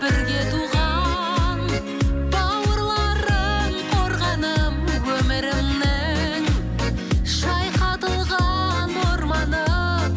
бірге туған бауырларым қорғаным өмірімнің шайқатылған орманы